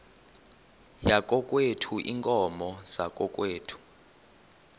yakokwethu iinkomo zakokwethu